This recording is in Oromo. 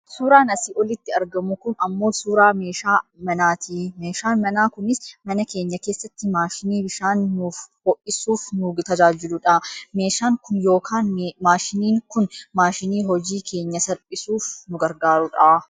Suuraan asii olitti argamu kun ammoo suuraa meeshaa manaati. Meeshaan manaa kunis mana keenya keessatti maashinii bishaan nuuf ho'isuuf nu tajaajiludha. Meeshaan kun yookaan maashiniin kun maashinii hojii keenya salphisuuf nu garagaarudha.